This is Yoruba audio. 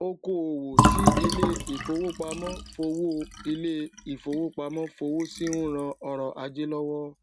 okoòwò tí ilé ìfowópamó fowó ilé ìfowópamó fowó sí n ran ọrò ajé lówó